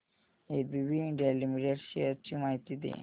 ABB India limited shares ची माहिती दे